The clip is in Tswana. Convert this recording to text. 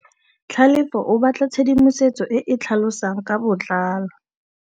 Tlhalefô o batla tshedimosetsô e e tlhalosang ka botlalô.